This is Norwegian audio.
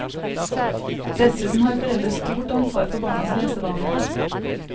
Dessuten har foreldre stort ansvar for barnas lesevaner.